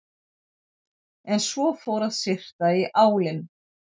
En svo fór að syrta í álinn.